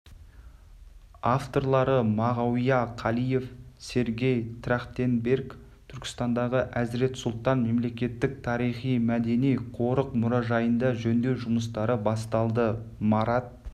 авторлары мағауия қалиев сергей трахтенберг түркістандағы әзірет сұлтан мемлекеттік тарихи-мәдени қорық мұражайында жөндеу жұмыстары басталды марат